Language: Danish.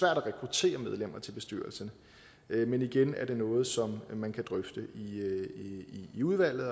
at rekruttere medlemmer til bestyrelsen men igen er det noget som man kan drøfte i udvalget